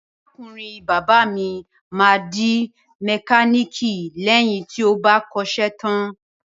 Arákùnrin bàbá mi máa di mẹkáníìkì lẹ́yìn tí ó bá kọ́ṣẹ́ tán.